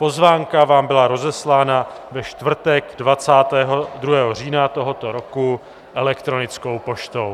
Pozvánka vám byla rozeslána ve čtvrtek 22. října tohoto roku elektronickou poštou.